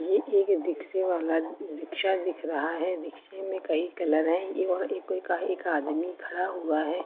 यह एक रिक्शे वाला रिक्शा दिख रहा है रिक्शे में कई कलर हैं एक आदमी खड़ा हुआ है।